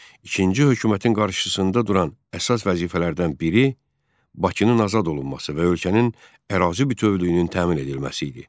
İkinci hökumətin qarşısında duran əsas vəzifələrdən biri Bakının azad olunması və ölkənin ərazi bütövlüyünün təmin edilməsi idi.